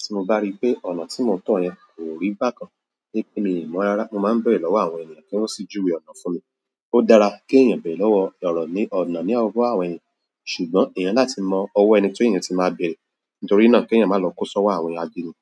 Tí mo bá rí pé ọ̀nà tí mo ń tọ̀ yẹn kò rí bákan ní kí èmi mọ̀ ara, mo máa ń bèrè lọ́wọ́ àwọn ènìyàn kí wọ́n sì júwe ọ̀nà fún mi. Ó dára kí èèyàn bẹ̀rẹ̀ lọ́wọ́ ọ̀rọ̀ ní ọ̀nà ní ọwọ́ àwọn ènìyàn, ṣùgbọ́n èèyàn ní láti mọ ọwọ́ ẹni tí èèyàn tí máa bèrè, nítorí náà kí èèyàn máa lọ kó sọ́wọ́ àwọn ajínigbé.